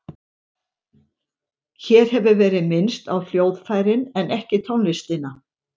Hér hefur verið minnst á hljóðfærin en ekki tónlistina.